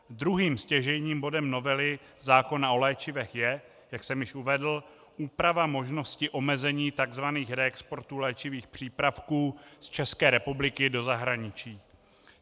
Druhým stěžejním bodem novely zákona o léčivech je, jak jsem již uvedl, úprava možnosti omezení tzv. reexportů léčivých přípravků z České republiky do zahraničí.